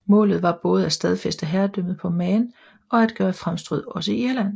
Målet var både at stadfæste herredømmet på Man og at gøre fremstød også i Irland